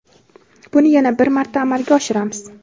buni yana bir marta amalga oshiramiz.